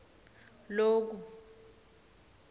loku